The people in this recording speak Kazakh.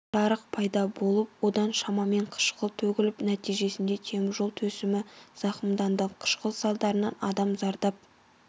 жарық пайда болып одан шамамен қышқыл төгіліп нәтижесінде теміржол төсемі зақымданды қышқыл салдарынан адам зардап